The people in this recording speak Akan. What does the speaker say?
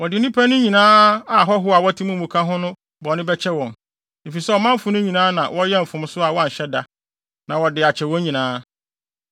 Wɔde nnipa no nyinaa a ahɔho a wɔte wɔn mu ka ho no bɔne bɛkyɛ wɔn, efisɛ ɔmanfo no nyinaa na wɔyɛɛ mfomso a wɔanhyɛ da; na wɔde akyɛ wɔn nyinaa.